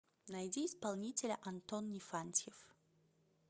найди исполнителя антон нифантьев